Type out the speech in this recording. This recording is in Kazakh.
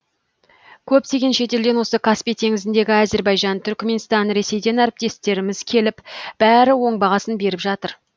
көптеген шетелден осы каспий теңізіндегі әзербайжан түрікменстан ресейден әріптестеріміз келіп бәрі оң бағасын беріп жатыр